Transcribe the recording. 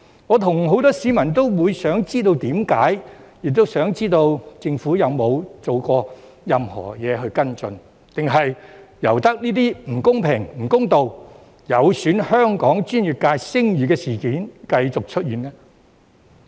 我和很多市民也想知道原因，亦想知道政府有否做過任何行動跟進，還是任由這些不公平、不公道、有損香港專業界聲譽的事件繼續出現呢？